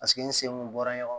Paseke n sen kun bɔra ɲɔgɔn kan